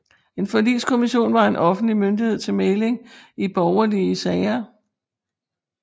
En forligskommission var en offentlig myndighed til mægling i borgerlige sager